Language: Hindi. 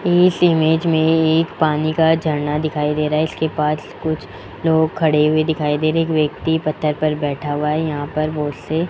इस इमेज में एक पानी का झरना दिखाई दे रहा है इसके पास कुछ लोग खड़े हुए दिखाई दे रहे एक व्यक्ति पत्थर पर बैठा हुआ है यहां पर बोतलें --